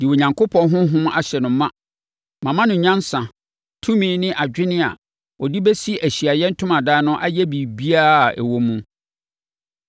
de Onyankopɔn Honhom ahyɛ no ma. Mama no nyansa, tumi ne adwene a ɔde bɛsi Ahyiaeɛ Ntomadan no ayɛ biribiara a ɛwɔ mu.